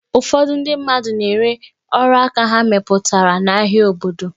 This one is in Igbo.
Ụfọdụ ndị mmadụ na-ere ọrụaka ha mepụtara n'ahịa obodo.